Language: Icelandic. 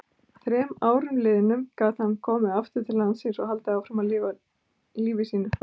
Að þremur árum liðnum gat hann komið aftur til landsins og haldið áfram lífi sínu.